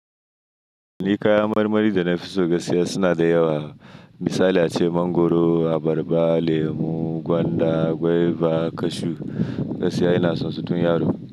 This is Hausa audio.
Ni kayan marmari da na fi so gaskiya suna da yawa. Misali ace mangoro, abarba, lemu, gwanda, guaiva, kashu. Gaskiya ina son su tun yaro.